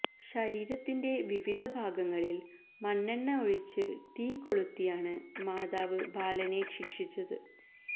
ശരീരത്തിന്റെ വിവിധ ഭാഗങ്ങളിൽ മണ്ണെണ്ണ ഒഴിച്ച് തീകൊളുത്തിയാണ് മാതാവ് ബാലനെ ശിക്ഷിച്ചത്